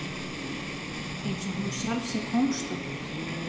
Einsog hún sjálf sé kóngsdóttir.